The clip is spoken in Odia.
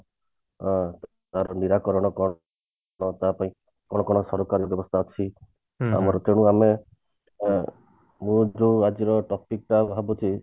ଅ ତାର ନିରାକରଣ କଣ ତା ପାଇଁ କଣ କଣ ସରକାରୀ ବ୍ୟବସ୍ତା ଅଛି ଆମର ତେଣୁ ଆମେ ଅ ମୁଁ ଯୋଉ ଆଜିର topic ଟା ଭାବୁଛି